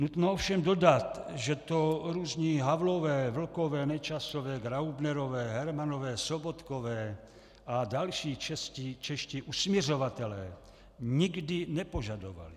Nutno ovšem dodat, že to různí Havlové, Vlkové, Nečasové, Graubnerové, Hermanové, Sobotkové a další čeští usmiřovatelé nikdy nepožadovali.